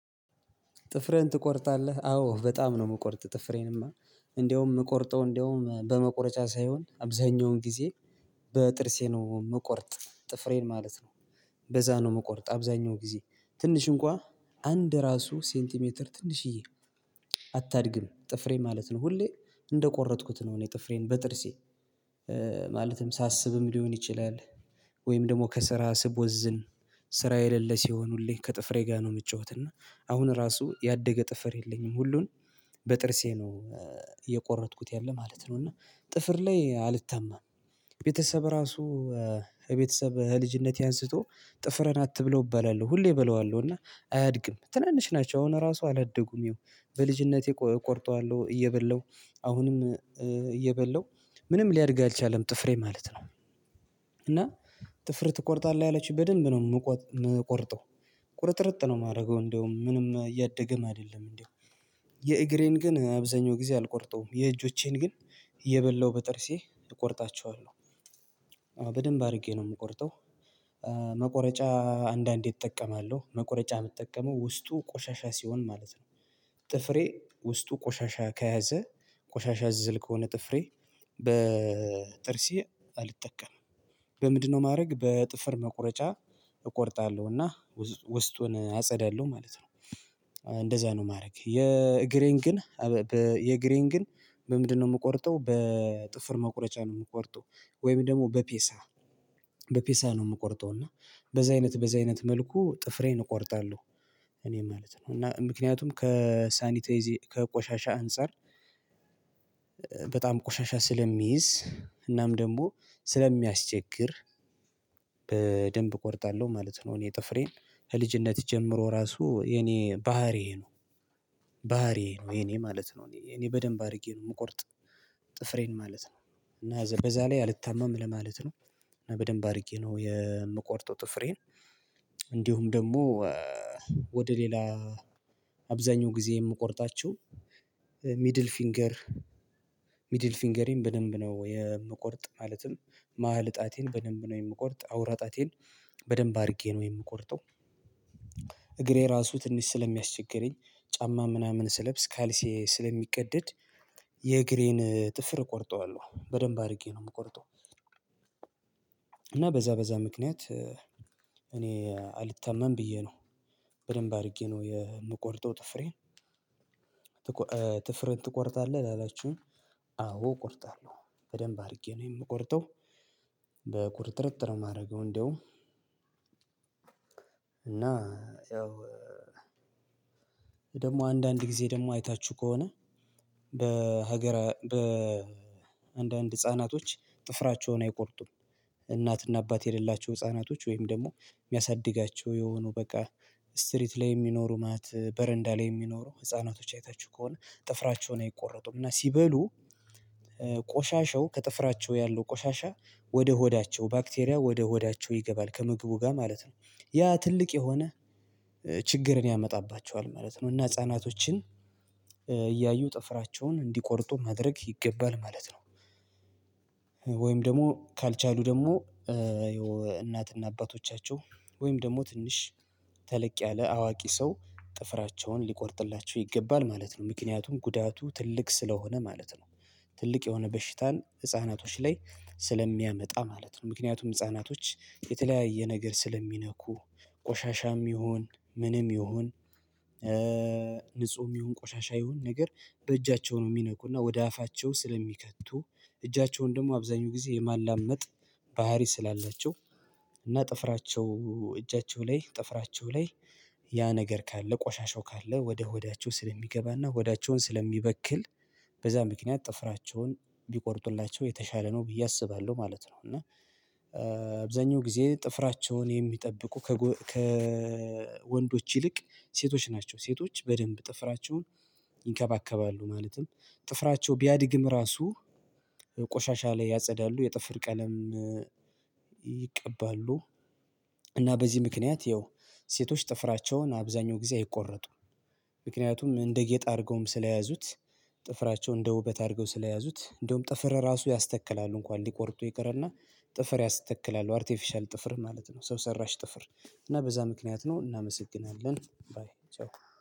ጥፍሬን ትቆርጣለህ አዎ በጣም ነው የምቆርጥ ጥፍሬንማ እንደውም እንደውም በመቆረጫ ሳይሆን አብዛኛውን ጊዜ በጥርሴ ነው ምቆርጥ ጥፍሬን ማለት ነው። በዛ ነው ምቆርጥ አብዛኛው ጊዜ ትንሽ እንኳን አንድ ራሱ ሴንቲሜትር ትንሽዬ አታድግም ጥፍሬ ማለት ነው ሁሌ እንደቆረጥኩት ነው እኔ ጥፍሬን በጥርሴ። ማለትም ሳስብም ሊሆን ይችላል። ወይም ደግሞ ከስራ ስቦዝን ስራ የሌለ ሲሆኑልኝ ከጥፍሬ ጋር ነው የምጫወት እና አሁን ራሱ ያደገ ጥፍር የለኝም። ሁሉን በጥርሴ ነው የቆረጥኩት ያለ ማለት ነው እና ጥፍር ላይ አልታማም። ቤተሰብ ራሱ የቤተሰብ ህልጅነቴ አንስቶ ጥፍርን አትብላው እባላለሁ ሁሌ እበላዋለሁ እና አያድግም ትናንሽ ናቸው አሁን ራሱ አላደጉም ይኸው በልጅነቴ ቆርጠዋለሁ እየበላሁ አሁንም እየበላው ምንም ሊያድግ አልቻለም ጥፍሬ ማለት ነው። እና ጥፍር ትቆርጣለህ ያለችው በደንብ ነው የምቆርጠው ቁርጥርጥ ነው የማደርገው እንደውም ምንም እያደገም አይደለም እንደው የእግሬን ግን አብዛኛው ጊዜ አልቆርጠውም የእጆቼን ግን እየበላሁ በጥርሴ እቆርጣቸዋለሁ። በደንብ አድርጌ ነው የምቆርጠው መቆረጫ አንዳንዴ እጠቀማለሁ መቁረጫ የምጠቀመው ውስጡ ቆሻሻ ሲሆን ማለት ነው። ጥፍሬ ውስጡ ቆሻሻ ከያዘ ቆሻሻ እዝል ከሆነ ጥፍሬ በጥርሴ አልጠቀምም። በምንድነው ማድረግ በጥፍር መቁረጫ እቆርጣለሁና ውስጡን አጸዳለሁ ማለት ነው። እንደዛ ነው ማድረግ የእግሬን ግን የእግሬን ግን ምንድነው የምቆርጠው በጥፍር መቁረጫ ነው የምቆርጠው ወይም ደግሞ በፒንሳ በፒንሳ ነው የምቆርጠው እና በዛ አይነት በዛ አይነት መልኩ ጥፍሬን እቆርጣለሁ። እኔ ማለት ነው እና ምክንያቱም ከሳኒቴ ከቆሻሻ አንፃር በጣም ቆሻሻ ስለሚይዝ እናም ደግሞ ስለሚያስቸግር በደንብ እቆርጣለሁ ማለት ነው። እኔ ጥፍሬን ከልጅነት ጀምሮ ራሱ የኔ ባህሪዬ ነው። ባህሪዬ ነው የኔ ማለት ነው እኔ እኔ በደንብ አድርጌ ነው የምቆርጥ ጥፍሬን ማለት ነው። እና በዛ ላይ አልታማም ለማለት ነው በደንብ አድርጌ ነው የምቆርጠው ጥፍሬን። እንዲሁም ደግሞ ወደ ሌላ አብዛኛው ጊዜ የምቆርጣቸው ሚድል ፊንገር ሚድል ፊንገሬን በደንብ ነው የምቆርጥ ማለትም መሃል ጣቴን በደንብ ነው የምቆርጥ አዉራ ጣቴን በደንብ አድርጌ ነው የምቆርጠው። እግሬ ራሱ ትንሽ ስለሚያስቸግረኝ ጫማ ምናምን ስለብስ ካልሲ ስለሚቀደድ የእግሬን ጥፍር እቆርጠዋለሁ በደንብ አድርጌ ነው የምቆርጠው። እና በዛ በዛ ምክንያት እኔ አልታማም ብዬ ነው በደንብ አድርጌ ነው የምቆርጠው ጥፍሬን። ጥፍርህን ትቆርጣለህ ላላችሁኝ አዎ እቆርጣለሁ በደንብ አድርጌ ነው የምቆርጠው። በቁርጥርጥር የማደርገው እንደውም እና ያው ደግሞ አንዳንድ ጊዜ ደግሞ አይታችሁ ከሆነ በሀገረ በ በአንዳንድ ህፃናቶች ጥፍራቸውን አይቆርጡም። እናት እና አባት የሌላቸው ህፃናቶች ወይም ደግሞ የሚያሳድጋቸው የሆኑ በቃ ስትሪት ላይ የሚኖሩ ማለት በረንዳ ላይ የሚኖሩ ህፃናቶች አይታችሁ ከሆነ ጥፍራቸውን አይቆረጡም እና ሲበሉ ቆሻሸው ከጥፍራቸው ያለው ቆሻሻ ወደ ሆዳቸው ባክቴሪያ ወደ ሆዳቸው ይገባል ከምግቡ ጋር ማለት ነው። ያ ትልቅ የሆነ ችግርን ያመጣባቸዋል ማለት ነው እና ህፃናቶችን እያዩ ጥፍራቸውን እንዲቆርጡ ማድረግ ይገባል ማለት ነው። ደግሞ ካልቻሉ ደግሞ እናትና አባቶቻቸው ወይም ደግሞ ትንሽ ተለቅ ያለ አዋቂ ሰው ጥፍራቸውን ሊቆርጥላቸው ይገባል ማለት ነው ምክንያቱም ጉዳቱ ትልቅ ስለሆነ ማለት ነው። ትልቅ የሆነ በሽታን ህፃናቶች ላይ ስለሚያመጣ ማለት ነው ምክንያቱም ህፃናቶች የተለያየ ነገር ስለሚነኩ ቆሻሻም ይሁን ምንም ይሁን ንጹህም ይሁን ቆሻሻ ይሁን ነገር በእጃቸው ነው የሚነኩና ወደ አፋቸው ስለሚከቱ እጃቸውን ደግሞ አብዛኛው ጊዜ የማላመጥ ባህሪ ስላላችሁ እና ጥፍራቸው እጃቸው ላይ ጥፍራቸው ላይ ያ ነገር ካለ ቆሻሻው ካለ ወደ ሆዳቸው ስለሚገባና ሆዳቸውን ስለሚበክል በዛ ምክንያት ጥፍራቸውን ቢቆርጡላቸው የተሻለ ነው ብዬ አስባለሁ ማለት ነው። እና አብዛኛው ጊዜ ጥፍራቸውን የሚጠብቁ ከወንዶች ይልቅ ሴቶች ናቸው ሴቶች በደንብ ጥፍራቸውን ይንከባከባሉ ማለትም ጥፍራቸው ቢያድግም ራሱ ቆሻሻ ላይ ያጸዳሉ የጥፍር ቀለም ይቀባሉ። እና በዚህ ምክንያት ይኸው ሴቶች ጥፍራቸውን አብዛኛው ጊዜ አይቆረጡም። ምክንያቱም እንደ ጌጥ አድርገውም ስለያዙት ጥፍራቸው እንደ ውበት አድርገው ስለያዙት እንደውም ጥፍር ራሱ ያስተክላሉ እንኳን ሊቆርጡ ይቅርና ጥፍር ያስተክላል አርቲፊሻል ጥፍር ማለት ነው። ሰው ሰራሽ ጥፍር እና በዛ ምክንያት ነው እናመሰግናለን። ባይ ቻው